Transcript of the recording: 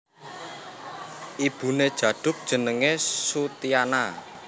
Ibuné Djaduk jenengé Soetiana